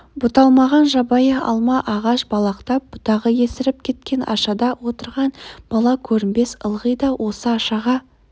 бұталмаған жабайы алма ағаш балақтап бұтағы есіріп кеткен ашада отырған бала көрінбес ылғи да осы ашаға